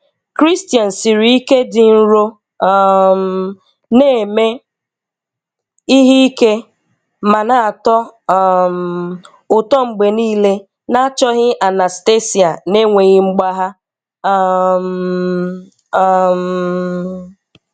Christian siri ike, dị nro, um na-eme ihe ike, ma na-atọ um ụtọ mgbe niile na-achọghị Anastasia n'enweghị mgbagha. um um